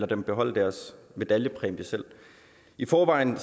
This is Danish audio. dem beholde deres medaljepræmier selv i forvejen